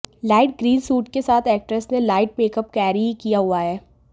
light green suit के साथ actress ने लाइट मेकअप कैरी किया हुआ हैं